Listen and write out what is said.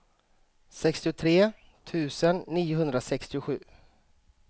sextiotre tusen niohundrasextiosju